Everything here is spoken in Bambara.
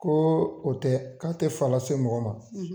Ko o tɛ, k'a tɛ fa lase mɔgɔ ma.